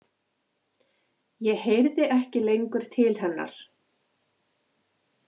Ég heyrði ekki lengur til hennar.